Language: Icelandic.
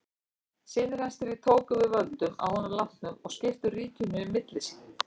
Synir hans þrír tóku við völdum að honum látnum og skiptu ríkinu milli sín.